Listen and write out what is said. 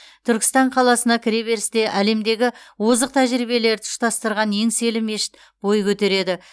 түркістан қаласына кіреберісте әлемдегі озық тәжірибелерді ұштастырған еңселі мешіт бой көтереді